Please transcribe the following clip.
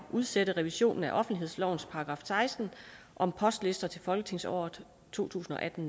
udsætte revisionen af offentlighedslovens § seksten om postlister til folketingsåret to tusind og atten